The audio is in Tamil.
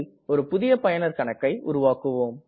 ஒரு புதிய பயனர் கணக்கை உருவாக்குவோம்